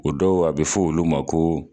O dɔw a bɛ fɔ olu ma ko